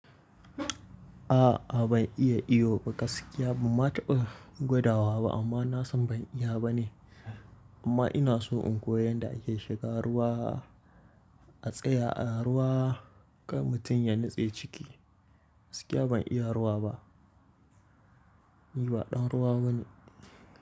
A'a ban iya iyo ba gaskiya banma taɓa gwadawa ba amma na san ban iya ba ne. Amma ina so in koyi yadda ake shiga ruwa, a tsaya a ruwa kan mutum ya nutse ciki. Gaskiya ban iya ruwa ba. Ni ba ɗan ruwa bane.